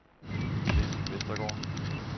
Chris Vestergaard